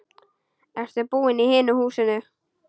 Ertu búinn í hinu húsinu?